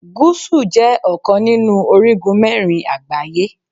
Gúsù jẹ́ ọ̀kan nínú orígun mẹ́rin àgbáyé.